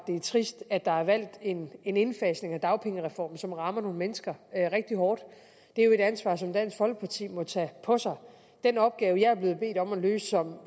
det er trist at der er valgt en en indfasning af dagpengereformen som rammer nogle mennesker rigtig hårdt det er jo et ansvar som dansk folkeparti må tage på sig den opgave jeg er blevet bedt om at løse som